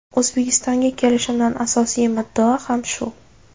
O‘zbekistonga kelishimdan asosiy muddao ham shu.